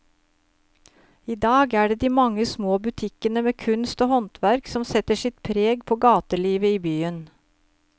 I dag er det de mange små butikkene med kunst og håndverk som setter sitt preg på gatelivet i byen.